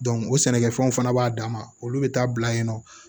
o sɛnɛkɛfɛnw fana b'a dama olu bi taa bila yen nɔ